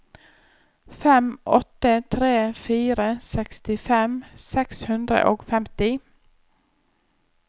fem åtte tre fire sekstifem seks hundre og femti